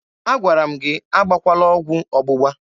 Agwara m gị agbakwala ọgwụ ọgbụgba!